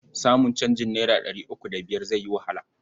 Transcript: Samun canjin naira ɗari uku da biyar zai yi wahala.